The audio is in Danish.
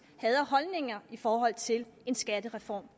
havde af holdninger i forhold til en skattereform